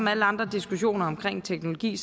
alle andre diskussioner om teknologi